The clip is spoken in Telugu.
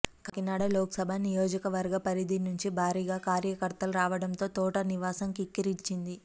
కాకినాడ లోక్సభ నియోజకవర్గ పరిధి నుంచి భారీగా కార్యకర్తలు రావడంతో తోట నివాసం కిక్కిరిసింది